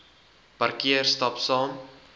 parkeer stap saam